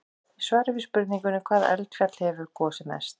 Í svari við spurningunni: Hvaða eldfjall hefur gosið mest?